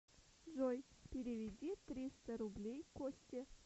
джой переведи триста рублей косте